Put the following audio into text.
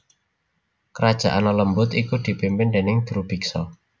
Kerajaan lelembut iku dipimpin déning Drubiksa